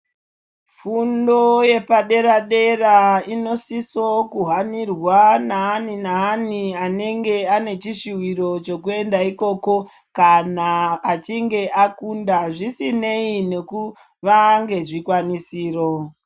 Fundo yepadera dera inosiso kuhanirwa naani naani anenge ane chishuviro chekuenda ikoko kana achinge akunda zvisinei nekuva nezvikwanisiro.